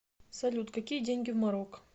салют какие деньги в марокко